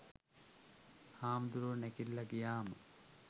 හාමුදුරුවෝ නැගිටල ගියහම